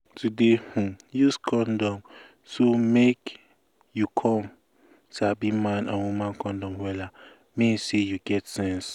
to dey um use condom so make you come um sabi man and woman condom wella mean say you get sense